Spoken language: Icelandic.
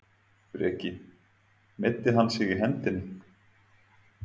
Breki: Meiddi hann sig í hendinni?